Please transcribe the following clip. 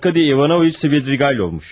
Arkadie İvanoviç Svidrigaylovmuş.